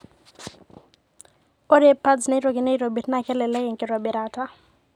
Ore pads naitokini aitobir naa kelelek enkitobirata.